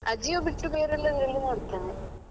Ajio ಬಿಟ್ಟು ಬೇರೆ ಎಲ್ಲದ್ರಲ್ಲಿ ನೋಡುತ್ತೇನೆ.